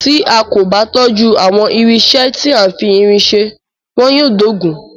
Tí a kò bá tọ́jú àwọn irinṣẹ́ tí a fi irin ṣe, wọn yóò dóògùn.